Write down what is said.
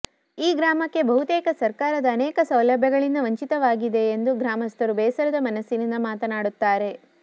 ಈ ಗ್ರಾಮಕ್ಕೆ ಬಹುತೆಕ ಸರಕಾರದ ಅನೇಕ ಸೌಲಭ್ಯಗಳಿಂದ ವಂಚಿತವಾಗಿದೆಂದು ಗ್ರಾಮಸ್ತರು ಬೇಸರದ ಮನಸ್ಸಿನಿಂತ ಮಾತನಾಡುತ್ತಾರೆ